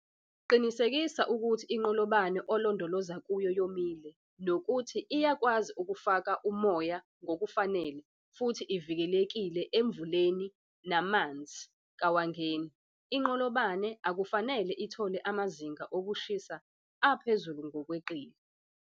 Qinisekisa ukuthi inqolobane olondoloza kuyo yomile nokuthi siyakwazi ukufaka omoya ngokufanele futhi ivikelekile emvuleni namanzi kawangeni. Inqolobqne akufanele ithole amazinga okushisa aphezulu ngokweqile.